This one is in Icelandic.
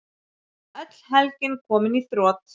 Öll helgin komin í þrot.